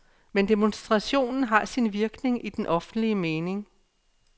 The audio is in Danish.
Men demonstrationen har sin virkning i den offentlige mening.